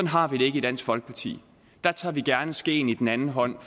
har vi det ikke i dansk folkeparti der tager vi gerne skeen i den anden hånd